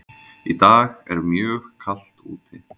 Í dag er mjög kalt úti.